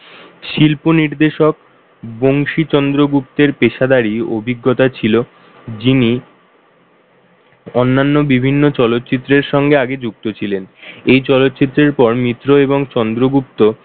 শিল্পনির্দেশক বংশী চন্দ্রগুপ্তের পেশাদারী অভিজ্ঞতা ছিল যিনি অন্যান্য বিভিন্ন চলচ্চিত্রের সঙ্গে আগে যুক্ত ছিলেন এই চলচ্চিত্রের পর মিত্র এবং চন্দ্রগুপ্ত,